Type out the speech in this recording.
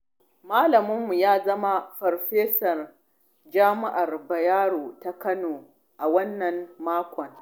Malaminmu ya zama farfesa jami'ar Bayero ta kano a wannan makon.